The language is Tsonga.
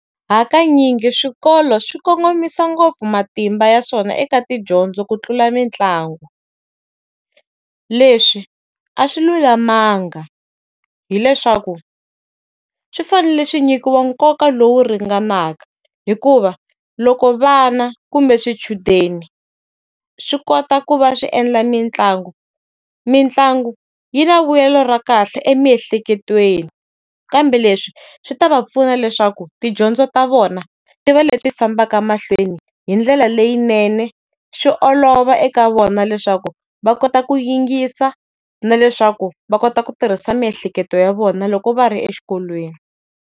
Hakanyingi swikolo swi kongomisa ngopfu matimba ya swona eka tidyondzo ku tlula mitlangu. Leswi a swi lulamanga. Hi leswaku, swi fanele swi nyikiwa nkoka lowu ringanaka, hikuva loko vana kumbe swichudeni swi kota ku va swi endla mitlangu, mitlangu yi na vulelo ra kahle emiehleketweni. Kambe leswi swi ta va pfuna leswaku tidyondzo ta vona ti va leti fambaka mahlweni hi ndlela leyinene, swi olova eka vona leswaku va kota ku yingisa na leswaku va kota ku tirhisa miehleketo ya vona loko va ri exikolweni.